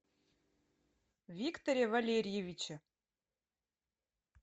викторе валериевиче